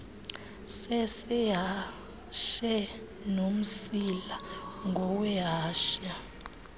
sesehashe nomsila ngowehashe